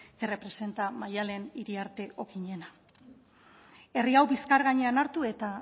que representa maddalen iriarte okinena herri hau bizkar gainean hartu eta